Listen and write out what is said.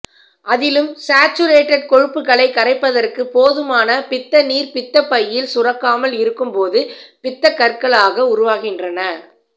அதிலும் சாச்சுரேட்டட் கொழுப்புக்களை கரைப்பதற்கு போதுமான பித்தநீர் பித்தப்பையில் சுரக்காமல் இருக்கும் போது பித்தக்கற்களாக உருவாகின்றன